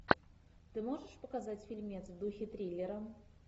ты можешь показать фильмец в духе триллера